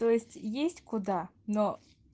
то есть есть куда но